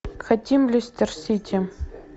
хотим лестер сити